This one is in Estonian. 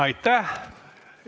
Aitäh!